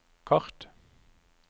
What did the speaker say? kart